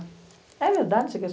É verdade que você quer estudar?